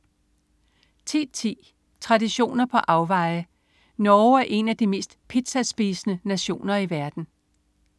10.10 Traditioner på afveje. Norge er en af de mest pizzaspisende nationer i verden